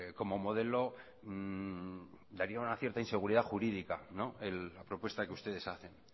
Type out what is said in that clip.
como modelo daría una cierta inseguridad jurídica la propuesta que ustedes hacen